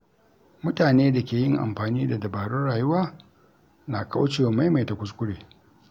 Mutane da ke yin amfani da dabarun rayuwa na kaucewa maimaita kuskure.